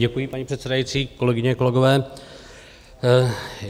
Děkuji, paní předsedající, kolegyně, kolegové.